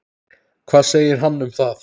Hvað segir hann um það?